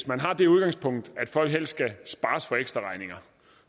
man har det udgangspunkt at folk helst skal spares for ekstraregninger